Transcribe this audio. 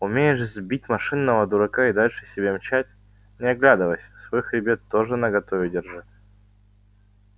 умеешь сбить машинного дурака и дальше себе мчать не оглядываясь свой хребет тоже наготове держи